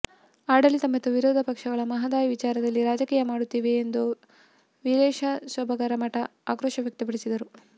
ಆಡಳಿತ ಮತ್ತು ವಿರೋಧ ಪಕ್ಷಗಳು ಮಹದಾಯಿ ವಿಚಾರದಲ್ಲಿ ರಾಜಕೀಯ ಮಾಡುತ್ತಿವೆ ಎಂದು ವೀರೇಶ ಸೊಬರದಮಠ ಆಕ್ರೋಶ ವ್ಯಕ್ತಪಡಿಸಿದರು